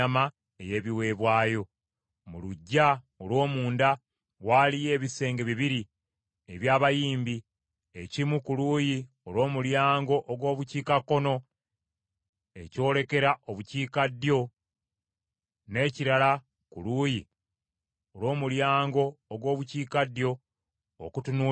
Mu luggya olw’omunda waaliyo ebisenge bibiri eby’abayimbi, ekimu ku luuyi olw’omulyango ogw’Obukiikakkono ekyolekera Obukiikaddyo, n’ekirala ku luuyi olw’omulyango ogw’Obukiikaddyo okutunuulira Obukiikakkono.